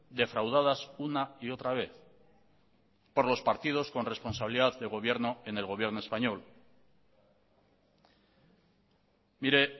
defraudadas una y otra vez por los partidos con responsabilidad de gobierno en el gobierno español mire